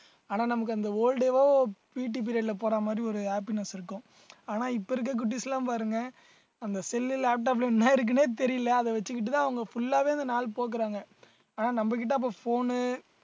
ஆனா நமக்கு அந்த whole day வும் PT ல period போற மாதிரி ஒரு happiness இருக்கும் ஆனா இப்ப இருக்க குட்டீஸ் எல்லாம் பாருங்க அந்த cell laptop ல என்ன இருக்குன்னே தெரியல அதை வச்சுக்கிட்டுதான் அவங்க full ஆவே இந்த நாள் போக்குறாங்க ஆனா நம்மகிட்ட அப்ப phone னு